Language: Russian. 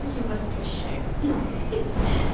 я вас прощаю хи-хи